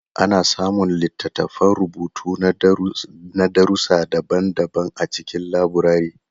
Ana samun littattafan rubutu na darussi daban-daban a cikin laburare.